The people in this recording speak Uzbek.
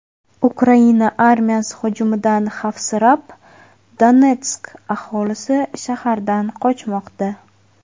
Ukraina armiyasi hujumidan xavfsirab, Donetsk aholisi shahardan qochmoqda.